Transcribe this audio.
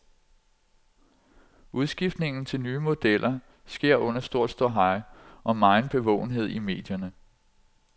Udskiftningen til nye modeller sker under stor ståhej og megen bevågenhed i medierne.